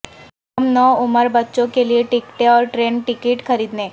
ہم نو عمر بچوں کے لیے ٹکٹیں اور ٹرین ٹکٹ خریدنے